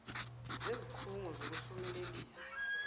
zezik hungo zokuhlumelelisa